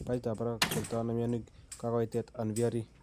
Pajit ab barak tertoono mionik kakoitooet an VRE